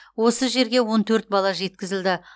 осы жерге он төрт бала жеткізілді